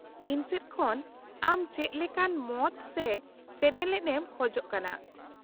-ᱤᱧ ᱥᱮᱫ ᱠᱷᱚᱱ ᱟᱢ ᱪᱮᱫ ᱞᱮᱠᱟᱱ ᱢᱚᱛ ᱥᱮ ᱥᱮᱱᱮᱞᱮᱫ ᱮᱢ ᱠᱷᱚᱡᱽ ᱠᱟᱱᱟ ?